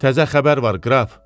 Təzə xəbər var qraf?